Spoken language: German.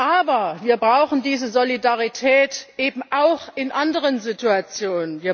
Aber wir brauchen diese Solidarität eben auch in anderen Situationen.